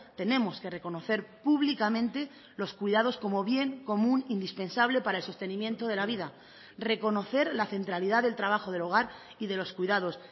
tenemos que reconocer públicamente los cuidados como bien común indispensable para el sostenimiento de la vida reconocer la centralidad del trabajo del hogar y de los cuidados